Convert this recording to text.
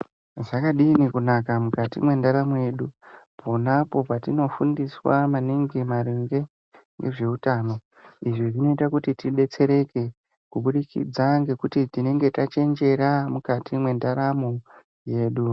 Zvakadini kunaka mukati mwendaramo yedu ponapo patinofundiswa maningi maringe ngezveutano. Izvi zvinoita kuti tibetsereke kuburikidza ngekuti tinonge tachenjera mukati mwendaramo yedu.